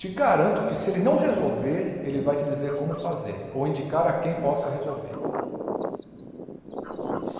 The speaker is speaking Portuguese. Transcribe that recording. Te garanto que se ele não resolver, ele vai te dizer como fazer ou indicar a quem possa resolver.